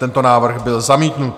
Tento návrh byl zamítnut.